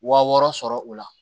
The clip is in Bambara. Wa wɔɔrɔ sɔrɔ o la